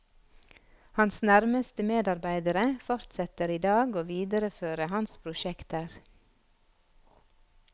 Hans nærmeste medarbeidere fortsetter i dag å videreføre hans prosjekter.